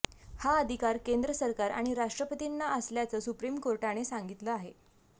हा अधिकार केंद्र सरकार आणि राष्ट्रपतींना असल्याचं सुप्रिम कोर्टाने सांगितलं आहे